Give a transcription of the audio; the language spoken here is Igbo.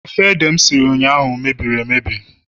ofe ede m siri ụnyahụ mebiri emebie